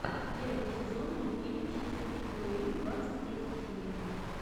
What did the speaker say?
первый сезон мультфильм счастливчик луи двадцать третья серия